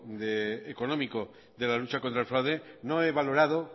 económico de la lucha contra el fraude no he valorado